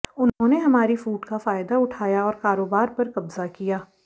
उन्होंने हमारी फूट का फायदा उठाया और कारोबार पर कब्जा किया